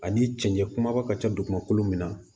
Ani cɛncɛn kumaba ka ca dugumakolo min na